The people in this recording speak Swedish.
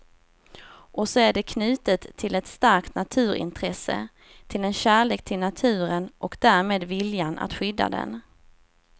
Och så är det knutet till ett starkt naturintresse, till en kärlek till naturen och därmed viljan att skydda den.